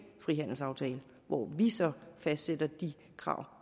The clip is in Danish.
frihandelsaftale hvor vi så fastsatte de krav